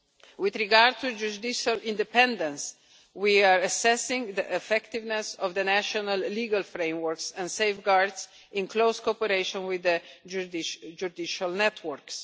With regard to judicial independence, we are assessing the effectiveness of the national legal frameworks and safeguards in close cooperation with the judicial networks.